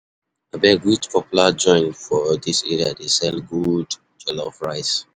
Abeg which popular joint for dis area dey sell good jollof rice?